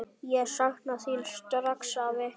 Ég sakna þín strax, afi.